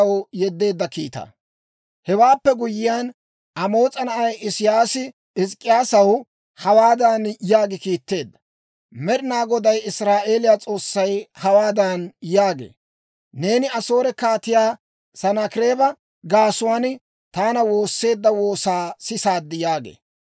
Hewaappe guyyiyaan, Amoos'a na'ay Isiyaasi Hizk'k'iyaasaw hawaadan yaagi kiitteedda; «Med'inaa Goday Israa'eeliyaa S'oossay hawaadan yaagee; ‹Neeni Asoore Kaatiyaa Sanaakireeba gaasuwaan taana woosseedda woosaa sisaad› yaagee.